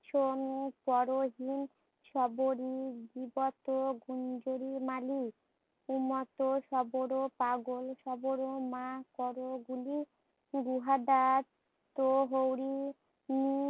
Sony পরহিন, সবরি, বিপত, গুঞ্জরি, মালি, উমত, সবর, পাগল সবর, মা কর গুলি, গুদাস্ত হরি